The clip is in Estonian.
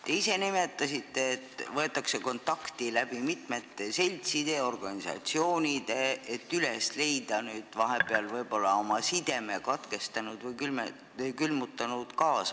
Te ise nimetasite, et võetakse kontakti mitmete seltside ja organisatsioonide kaudu, et üles leida kaasmaalasi, kes on vahepeal oma sideme Eestiga katkestanud või külmutanud.